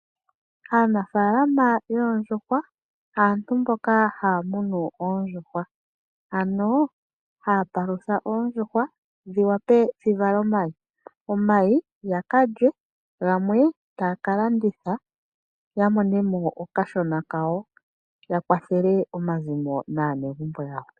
Aanafaalama yoondjuhwa aantu mboka haya munu oondjuhwa ano haya palutha oondjuhwa, dhi wape dhi vale omayi, yaka lye, go gamwe taya ka landitha, ya mone mo okashona kawo, ya kwathele omazimo naanegumbo yawo.